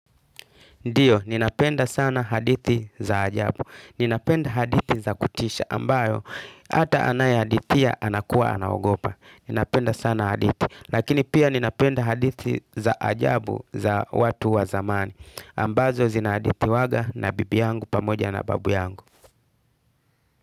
Ndiyo, ninapenda sana hadithi za ajabu. Ninapenda hadithi za kutisha ambayo hata anayehadithia anakuwa anaogopa. Ninapenda sana hadithi. Lakini pia ninapenda hadithi za ajabu za watu wa zamani ambazo zinahadithiwaga na bibi yangu pamoja na babu yangu.